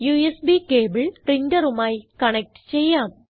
USB cable പ്രിന്ററുമായി connect ചെയ്യാം